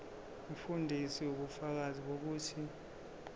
umfundisi ubufakazi bokuthi